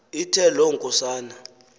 ithe loo nkosana